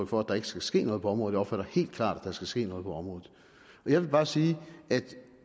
for at der ikke skal ske noget på området jeg opfatter helt klart at der skal ske noget på området jeg vil bare sige at